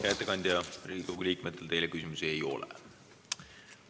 Hea ettekandja, Riigikogu liikmetel teile küsimusi ei ole.